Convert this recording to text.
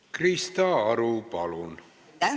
Krista Aru, palun!